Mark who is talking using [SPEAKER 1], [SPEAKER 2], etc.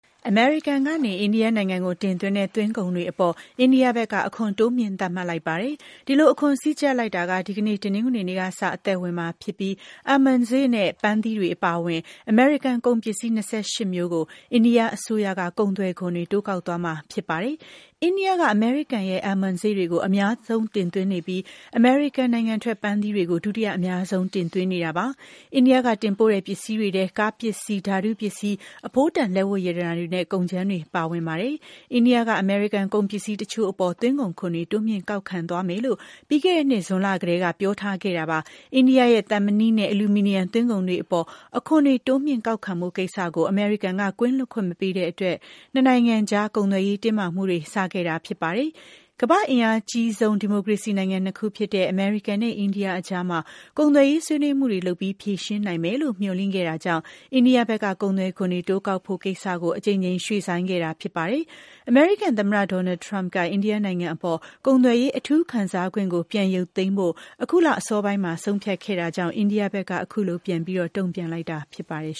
[SPEAKER 1] အမေရိကန်နိုင်ငံက အိန္ဒိယကို တင်သွင်းတဲ့ သွင်းကုန်တွေအပေါ် အိန္ဒိယဘက်က အခွန်တိုးမြှင့်သတ်မှတ်လိုက်ပါတယ်။ဒီလို အခွန်စည်းကြပ်လိုက်တာ က ဒီကနေ့ တနင်္ဂနွေနေ့က စအသက်ဝင်မှာ ဖြစ်ပြီး Almond စေ့ နဲ့ ပန်းသီးတွေအပါအဝင် အမေရိကန်ကုန်ပစ္စည်း ၂၈ မျိုးကို အိန္ဒိယအစိုးရက ကုန်သွယ်ခွန်တွေ တိုးကောက်သွားမှာ ဖြစ်ပါတယ်။ အိန္ဒိယနိုင်ငံက အမေရိကန်ရဲ့ Almond စေ့တွေကို အများဆုံးတင်သွင်းနေပြီး အမေရိကန်နိုင်ငံထွက် ပန်းသီးတွေကို ဒုတိယ အများဆုံးတင်သွင်းနေတာပါ။ အိန္ဒိယက တင်ပို့တဲ့ ပစ္စည်းတွေထဲ ကားပစ္စည်း၊ ဓာတုပစ္စည်း၊ အဖိုးတန် လက်ဝတ်ရတနာတွေနဲ့ ကုန်ကြမ်းတွေပါဝင်ပါတယ်။ အိန္ဒိယက အမေရိကန်ကုန်ပစ္စည်းတချို့အပေါ်မှာ သွင်းကုန်ခွန်တွေ တိုးမြှင့်ကောက်ခံသွားမယ်လို့ ပြီးခဲ့တဲ့နှစ် ဇွန်လကတည်းက ပြောထား ခဲ့တာပါ။ အိန္ဒိယရဲ့ သံမဏိ နဲ့ အလူမီနီယံသွင်းကုန်တွေအပေါ်မှာ အခွန်တွေတိုးမြှင့်ကောက်ခံဖို့ကိစ္စကို အမေရိကန် ကင်းလွတ်ခွင့်မပေးတဲ့အတွက် နှစ်နိုင်ငံကြား ကုန်သွယ်ရေး တင်းမာမှုတွေ စခဲ့ရတာဖြစ်ပါတယ်။ ကမ္ဘာ့အင်အားအကြီးဆုံး ဒီမိုကရေစီနိုင်ငံ ၂ ခုဖြစ်တဲ့ အမေရိကန် နဲ့ အိန္ဒိယကြားမှာ ကုန်သွယ်ရေးဆွေးနွေးမှုတွေလုပ်ပြီး ဖြေရှင်းနိုင်မယ်လို့ မျှော်လင့်ခဲ့တာကြောင့် အိန္ဒိယဘက်က ကုန်သွယ်ခွန်တွေ တိုးကောက်ဖို့ ကိစ္စကို အကြိမ်ကြိမ် ရွှေ့ဆိုင်းခဲ့တာဖြစ်ပါတယ်။ အမေရိကန်သမ္မတဒေါ်နယ်လ်ထရမ့်က အိန္ဒိယနိုင်ငံအပေါ် ကုန်သွယ်ရေးအထူးခံစားခွင့်ကို ပြန်ရုပ်သိမ်းဖို့ အခုလ အစောပိုင်းမှာ ဆုံးဖြတ်ခဲ့တာကြောင့်၊ အိန္ဒိယဘက်ကလည်း အခုလို ပြန်ပြီး တုံ့ပြန်လိုက်တာဖြစ်ပါတယ်